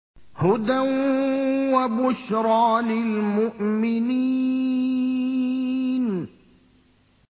هُدًى وَبُشْرَىٰ لِلْمُؤْمِنِينَ